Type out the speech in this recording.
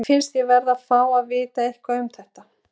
Mér finnst ég verði að fá að vita eitthvað um það.